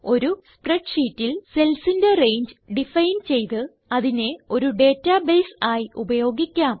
ഒരു spreadsheetൽ cellsന്റെ രംഗെ ഡിഫൈൻ ചെയ്ത് അതിനെ ഒരു ഡേറ്റാബേസ് ആയി ഉപയോഗിക്കാം